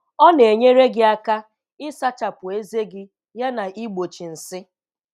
Ọ na-enyere gị aka ịsachapụ ezé gị yana igbochi nsị.